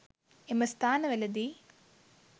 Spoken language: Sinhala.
එම ස්ථාන වලදී